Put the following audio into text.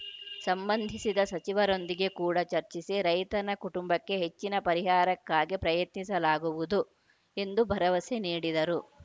ಸಂಬಂಧಿಸಿದ ಸಚಿವರೊಂದಿಗೆ ಕೂಡ ಚರ್ಚಿಸಿ ರೈತರನ ಕುಟುಂಬಕ್ಕೆ ಹೆಚ್ಚಿನ ಪರಿಹಾರಕ್ಕಾಗಿ ಪ್ರಯತ್ನಿಸಲಾಗುವುದು ಎಂದು ಭರವಸೆ ನೀಡಿದರು